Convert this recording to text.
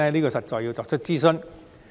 這實在需要進行諮詢。